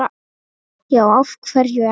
já af hverju ekki